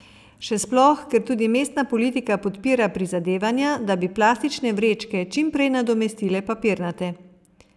Še sploh, ker tudi mestna politika podpira prizadevanja, da bi plastične vrečke čim prej nadomestile papirnate.